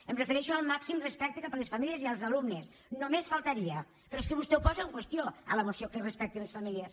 em refereixo al màxim respecte cap a les famílies i als alumnes només faltaria però és que vostè ho posa en qüestió a la moció que es respecten les famílies